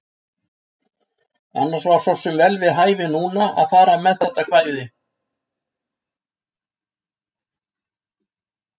Annars var svo sem vel við hæfi núna að fara með þetta kvæði.